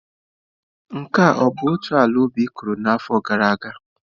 Nke a ọ bụ otu ala ubi ị kụrụ n'afọ gara aga?